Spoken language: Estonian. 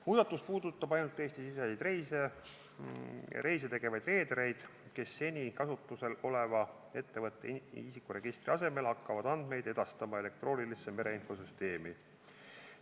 Muudatus puudutab ainult Eesti-siseseid reise ja reedereid, kes seni kasutusel oleva ettevõtte isikuregistri asemel hakkavad andmeid edastama elektroonilisse mereinfosüsteemi.